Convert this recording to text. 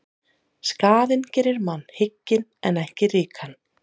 Skaðinn gerir mann hygginn en ekki ríkan.